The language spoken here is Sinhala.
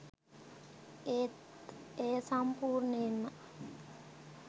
ඒත් එය සම්පූර්ණයෙන්ම